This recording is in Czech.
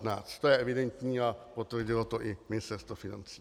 To je evidentní a potvrdilo to i Ministerstvo financí.